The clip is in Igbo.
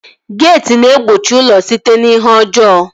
Geeti na-egbochi ụlọ site n'ihe ọjọọ